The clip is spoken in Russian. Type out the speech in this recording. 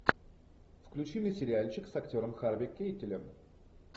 включи мне сериальчик с актером харви кейтелем